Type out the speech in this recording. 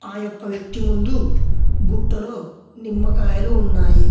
ఆ యొక్క వ్యక్తి ముందు బుట్టలో నిమ్మకాయలు ఉన్నాయి.